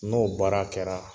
N'o baara kɛra